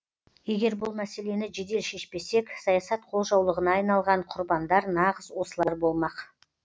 егер бұл мәселені жедел шешпесек саясат қолжаулығына айналған құрбандар нағыз осылар болмақ